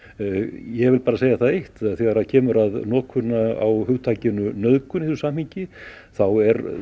ég vil bara segja það eitt að þegar kemur að notkun á hugtakinu nauðgun í þessu samhengi þá